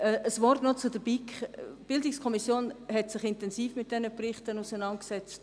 Ein Wort noch zur BiK: Die BiK hat sich intensiv mit diesen Berichten auseinandergesetzt.